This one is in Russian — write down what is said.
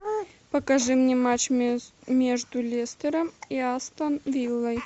покажи мне матч между лестером и астон виллой